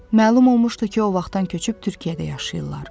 Məlum olmuşdu ki, o vaxtdan köçüb Türkiyədə yaşayırlar.